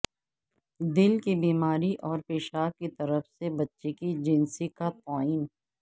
دل کی بیماری اور پیشاب کی طرف سے بچے کی جنسی کا تعین